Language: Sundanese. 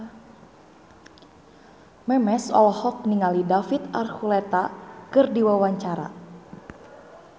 Memes olohok ningali David Archuletta keur diwawancara